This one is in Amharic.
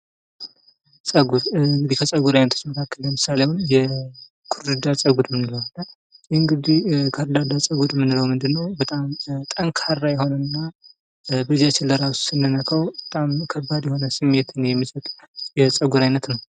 ጸጉር እንግዲህ ከጸጉር አይነቶች መካከል ለምሳሌ ከርዳዳ ጸጉር ይህ እንግዲህ ከርዳዳ ጸጉር የምንለው እንግዲህ በጣም ጠንካራ የሆነና በእጃችን ለራሱ ስንነካው ከባድ የሆነ ስሜትን የሚሰጥ የጸጉር አይነት ነው።